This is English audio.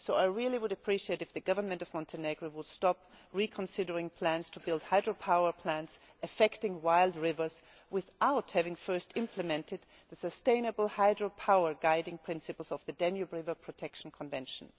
So I really would appreciate it if the government of Montenegro would stop reconsidering plans to build hydropower plants, affecting wild rivers, without having first implemented the sustainable hydropower guiding principles of the Danube River Protection Convention.